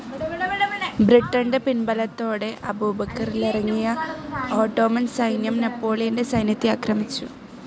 ബ്രിട്ടൻ്റെ പിൻബലത്തോടെ അബുക്കറിലിറങ്ങിയ ഓട്ടോമൻ സൈന്യം നെപ്പോളിയൻ്റെ സൈന്യത്തെ ആക്രമിച്ചു.